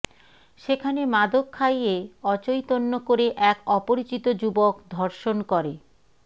সেখানে মাদক খাইয়ে অচৈতন্য করে এক অপরিচিত যুবক ধর্ষণ করে